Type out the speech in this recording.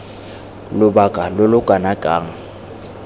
lobaka lo lo kana kang